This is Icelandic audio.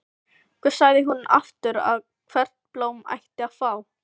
Hvað sagði hún aftur að hvert blóm ætti að fá?